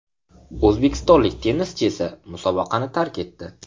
O‘zbekistonlik tennischi esa musobaqani tark etdi.